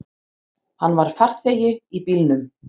Hann var farþegi í bílnum.